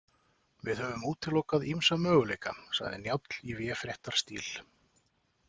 Við höfum útilokað ýmsa möguleika, sagði Njáll í véfréttarstíl.